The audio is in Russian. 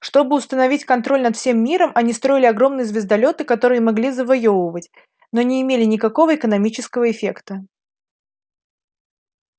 чтобы установить контроль над всем миром они строили огромные звездолёты которые могли завоёвывать но не имели никакого экономического эффекта